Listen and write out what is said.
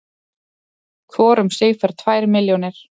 Hvor um sig fær tvær milljónir